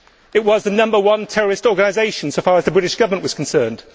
It was the number one terrorist organisation as far as the British Government was concerned.